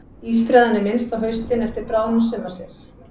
Ísbreiðan er minnst á haustin eftir bráðnun sumarsins.